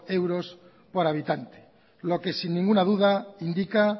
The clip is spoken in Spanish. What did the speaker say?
euros por habitante lo que sin ninguna duda indica